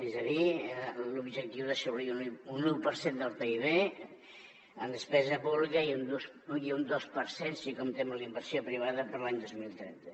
és a dir l’objectiu d’assolir un u per cent del pib en despesa pública i un dos per cent si comptem la inversió privada per a l’any dos mil trenta